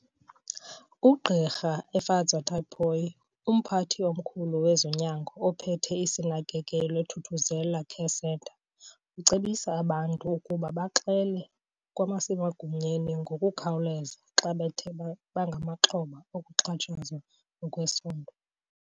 UGq Efadzwa Tipoy, umphathi omkhulu wezonyango ophethe iSinakekelwe Thuthuzela Care Centre, ucebisa abantu ukuba baxele kwabasemagunyeni ngokukhawulelza xa bethe bangamaxhoba okuxhatshazwa ngokwesondo.